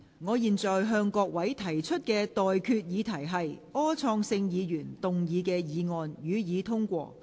我現在向各位提出的待決議題是：柯創盛議員動議的議案，予以通過。